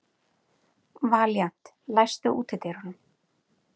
Valíant, læstu útidyrunum.